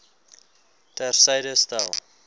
ter syde stel